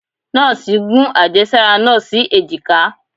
nọọsi gún ajésárá naa sí ejika